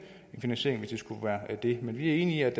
finansiering hvis det skulle være det men vi er enige